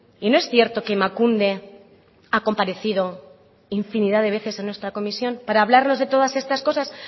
y no es cierto que emakunde ha comparecido infinidad de veces en nuestra comisión para hablarnos de todas estas cosas